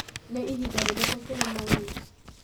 nĩ ihinda rĩrĩkũ kĩrĩma-inĩ